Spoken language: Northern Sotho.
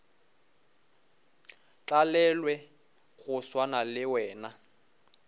tlalelwe go swana le wena